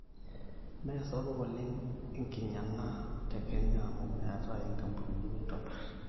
meesapuk oleng enkinyang' a te kenya amu meetai inkapunini naaitobir